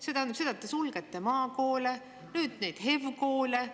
See tähendab seda, et te sulgete maakoole, nüüd neid HEV-koole.